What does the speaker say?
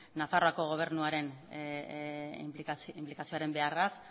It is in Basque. nafarroako gobernuaren inplikazioaren beharraz